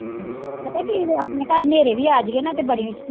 ਪਤਾ ਕੀ ਹੈ ਆਪਣੇ ਘਰ ਹਨੇਰੇ ਵੀ ਆ ਜਾਈਏ ਨਾ ਤੇ ਬੜੀ